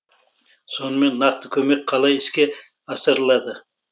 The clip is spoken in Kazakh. сонымен нақты көмек қалай іске асырылады